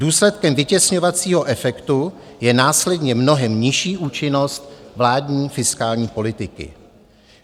Důsledkem vytěsňovacího efektu je následně mnohem nižší účinnost vládní fiskální politiky.